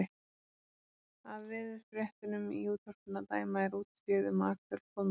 Af veðurfréttunum í útvarpinu að dæma er útséð um að Axel komi í dag.